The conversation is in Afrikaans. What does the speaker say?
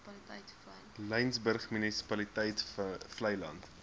laingsburg munisipaliteit vleiland